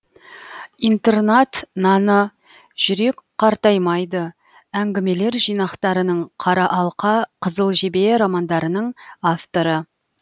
интернат наны жүрек қартаймайды әңгімелер жинақтарының қара алқа қызыл жебе романдарының авторы